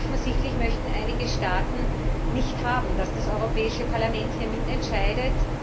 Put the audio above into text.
Offensichtlich möchten einige Staaten nicht, dass das Europäische Parlament hier mitentscheidet.